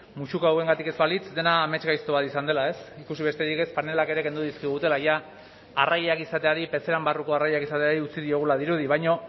musuko hauengatik ez balitz dena amesgaizto bat izan dela ez ikusi besterik ez panelak ere kendu dizkigutela jada arrainak izateari pezeran barruko arrainak izateari utzi diogula dirudi baina